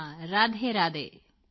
ਹਾਂ ਰਾਧੇਰਾਧੇ